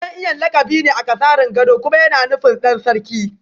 Dan Iyan lakabi ne akasarin gado kuma yana nufin Dan Sarki